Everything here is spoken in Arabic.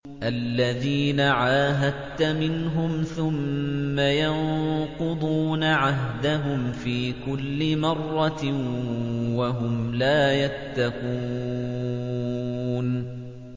الَّذِينَ عَاهَدتَّ مِنْهُمْ ثُمَّ يَنقُضُونَ عَهْدَهُمْ فِي كُلِّ مَرَّةٍ وَهُمْ لَا يَتَّقُونَ